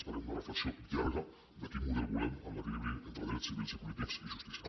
esperem una reflexió llarga de quin model volem en l’equilibri entre drets civils i polítics i justícia